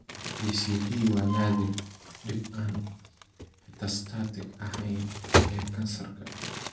PCD waa naadir, dhib aan metastatic ahayn ee kansarka.